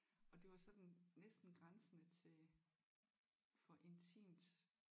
Og det var sådan næsten grænsende til for intimt